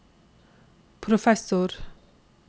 professor